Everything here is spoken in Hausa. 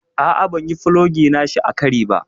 A'a ban yi fulogi nashi a kari ba.